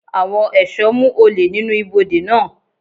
Àwọn ẹ̀ṣọ́ mú olè nínú ibùdó náà.